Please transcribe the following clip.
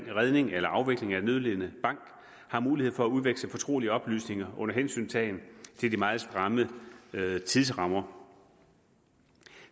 redning eller afvikling af en nødlidende bank har mulighed for at udveksle fortrolige oplysninger under hensyntagen til de meget stramme tidsrammer